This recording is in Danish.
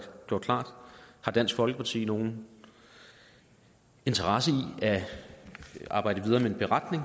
gjort klart har dansk folkeparti nogen interesse i at arbejde videre med en beretning